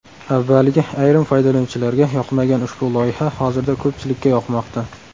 Avvaliga ayrim foydalanuvchilarga yoqmagan ushbu loyiha hozirda ko‘pchilikka yoqmoqda.